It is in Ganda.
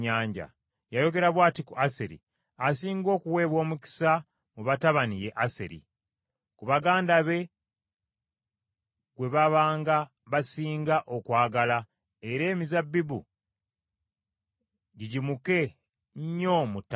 Yayogera bw’ati ku Aseri: “Asinga okuweebwa omukisa mu batabani ye Aseri, ku baganda be gwe babanga basinga okwagala era emizabbibu gigimuke nnyo mu ttaka lye.